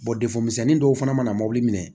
defemuso dɔw fana mana mobili minɛ